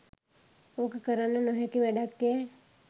ඕක කරන්න නොහැකි වැඩක්යැ.